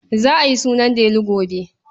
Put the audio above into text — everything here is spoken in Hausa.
Za a yi sunan Delu gobe.